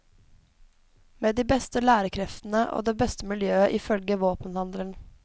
Med de beste lærerkreftene og det beste miljøet ifølge våpenhandleren.